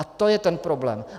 A to je ten problém.